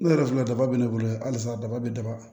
Ne yɛrɛ filɛ daba bɛ ne bolo yan halisa daba bɛ daba